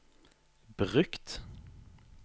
brukt